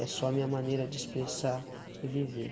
É só a minha maneira de expressar e viver.